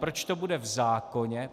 Proč to bude v zákoně?